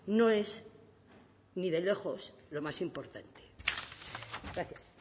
no es ni de lejos lo más importante gracias